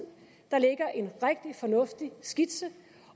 der ligger en rigtig fornuftig skitse